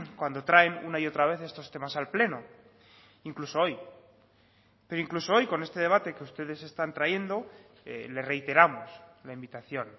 cuando traen una y otra vez estos temas al pleno incluso hoy pero incluso hoy con este debate que ustedes están trayendo le reiteramos la invitación